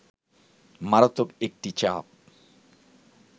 মারাত্মক একটি চাপ